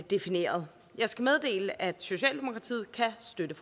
defineret jeg skal meddele at socialdemokratiet kan støtte